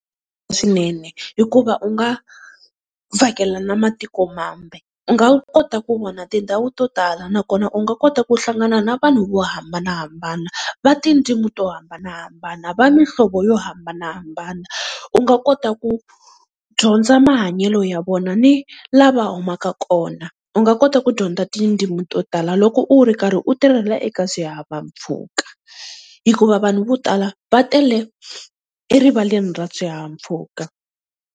Swinene hikuva u nga vhakela na matiko mambe, u nga kota ku vona tindhawu to tala nakona u nga kota ku hlangana na vanhu vo hambanahambana va tindzimi to hambanahambana, va mihlovo yo hambanahambana. U nga kota ku dyondza mahanyelo ya vona ni la va humaka kona. U nga kota ku dyondza tindzimi to tala loko u ri karhi u tirhela eka swihahampfhuka, hikuva vanhu vo tala va tele erivaleni ra swihahampfhuka.